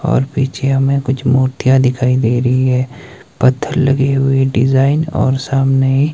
और पीछे हमें कुछ मूर्तियां दिखाई दे रही है पत्थर लगी हुई डिजाइन और सामने--